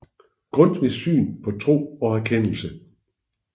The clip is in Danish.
Grundtvigs Syn på Tro og Erkendelse